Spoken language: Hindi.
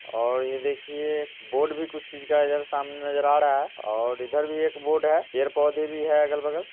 और ये देखिए बोर्ड भी कुछ चीज का इधर सामने नजर आ रहा है और इधर भी एक बोर्ड है | पेर पौधे भी है अगल बगल।